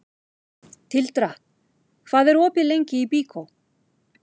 Tildra, hvað er opið lengi í Byko?